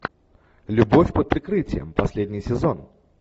любовь под прикрытием последний сезон